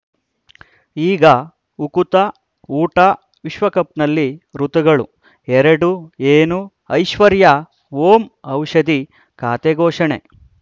ಈಗ ಉಕುತ ಊಟ ವಿಶ್ವಕಪ್‌ನಲ್ಲಿ ಋತುಗಳು ಎರಡು ಏನು ಐಶ್ವರ್ಯಾ ಓಂ ಔಷಧಿ ಖಾತೆ ಘೋಷಣೆ